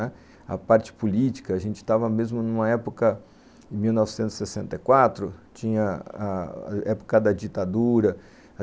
Né, a parte política, a gente estava mesmo numa época, em mil novecentos e noventa e quatro, tinha a época da ditadura.